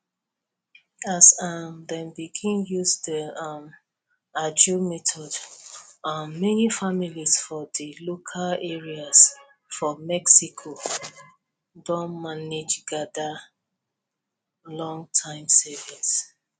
as um dem begin use di um ajo method um many families for di local areas for mexico don manage gather lonterm savings